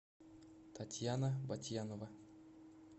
татьяна ботьянова